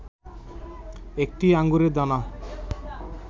একটি আঙুরের দানা